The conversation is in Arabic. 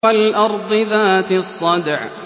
وَالْأَرْضِ ذَاتِ الصَّدْعِ